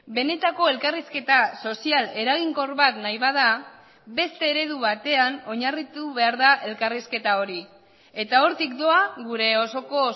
benetako elkarrizketa sozial eraginkor bat nahi bada beste eredu batean oinarritu behar da elkarrizketa hori eta hortik doa gure osoko